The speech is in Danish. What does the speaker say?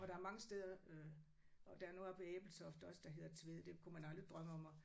Og der er mange steder øh og der er noget oppe ved Ebeltoft der også der hedder Tvede det kunne man aldrig drømme om at